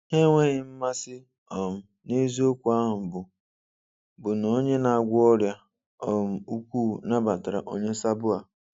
Ha enweghị mmasị um na eziokwu ahụ bụ bụ na Onye na-agwọ ọrịa um ukwu nabatara onye sabo a.